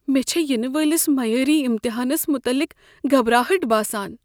مےٚ چھےٚ ینہٕ وٲلس میٲری امتحانس متعلق گھبراہٹ باسان۔